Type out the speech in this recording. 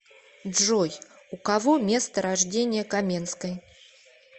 джой у кого место рождения каменской